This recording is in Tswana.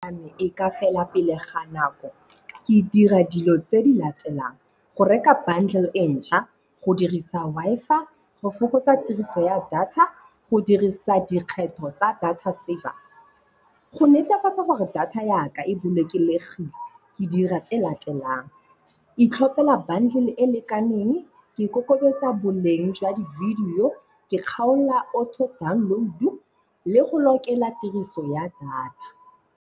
Data ya me e ka fela pele ga nako, ke e dira dilo tse di latelang. Go reka bundle e ntšha, go dirisa Wi-Fi, go fokotsa tiriso ya data, go dirisa dikgetho tsa data saver. Go netefatsa gore data ya ka e bolokegile ke dira tse latelang. Itlhopela bundle e lekaneng, ke ikokobetsa boleng jwa di video, ke kgaola auto download-u le go lokela tiriso ya data.